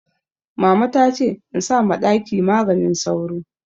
Mama ta ce in sa ma ɗaki maganin sauro